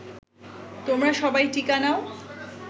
তোমরা সবাই টিকা নাও